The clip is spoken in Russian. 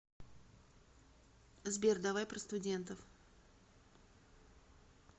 сбер давай про студентов